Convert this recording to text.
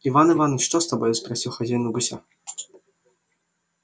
иван иваныч что с тобой спросил хозяин у гуся